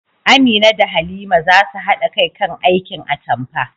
Amina da Halima za su haɗa kai kan aikin atampa